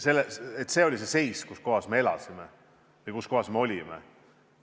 See oli see seis, kus me elasime ja kus me olime.